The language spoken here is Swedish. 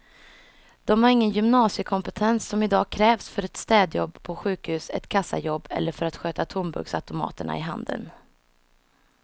De har ingen gymnasiekompetens som i dag krävs för ett städjobb på sjukhus, ett kassajobb eller för att sköta tomburksautomaterna i handeln.